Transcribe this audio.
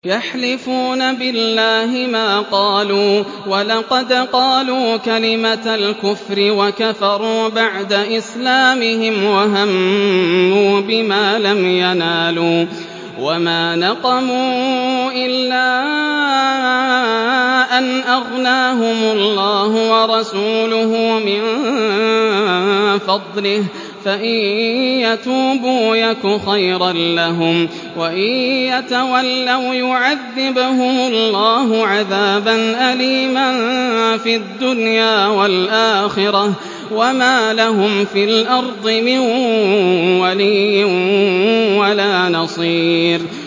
يَحْلِفُونَ بِاللَّهِ مَا قَالُوا وَلَقَدْ قَالُوا كَلِمَةَ الْكُفْرِ وَكَفَرُوا بَعْدَ إِسْلَامِهِمْ وَهَمُّوا بِمَا لَمْ يَنَالُوا ۚ وَمَا نَقَمُوا إِلَّا أَنْ أَغْنَاهُمُ اللَّهُ وَرَسُولُهُ مِن فَضْلِهِ ۚ فَإِن يَتُوبُوا يَكُ خَيْرًا لَّهُمْ ۖ وَإِن يَتَوَلَّوْا يُعَذِّبْهُمُ اللَّهُ عَذَابًا أَلِيمًا فِي الدُّنْيَا وَالْآخِرَةِ ۚ وَمَا لَهُمْ فِي الْأَرْضِ مِن وَلِيٍّ وَلَا نَصِيرٍ